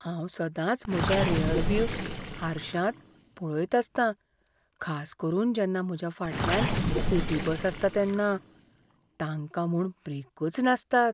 हांव सदांच म्हज्या रेअरव्यू हारश्यांत पळयत आसतां, खास करून जेन्ना म्हज्या फाटल्यान सिटी बस आसता तेन्ना. तांकां म्हूण ब्रेकच नासतात.